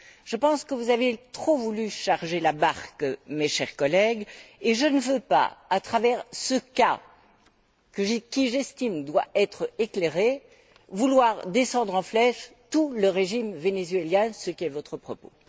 Je pense que vous avez trop voulu charger la barque, mes chers collègues, et je ne veux pas, à travers ce cas qui, j'estime, doit être éclairé, descendre en flèche tout le régime vénézuélien, ce qui est votre propos.